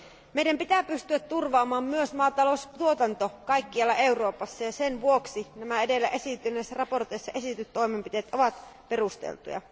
Meidän pitää pystyä turvaamaan myös maataloustuotanto kaikkialla Euroopassa, ja sen vuoksi nämä edellä esiintyneissä mietinnöissä esitetyt toimenpiteet ovat perusteltuja.